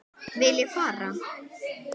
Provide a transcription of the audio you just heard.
Vil ég fara?